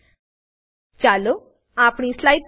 ચાલો આપણી સ્લાઈડ પર પાછા ફરીએ અને સારાંશ લઈએ